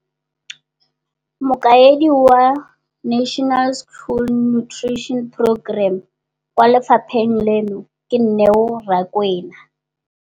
Mokaedi wa NSNP kwa lefapheng leno, Neo Rakwena,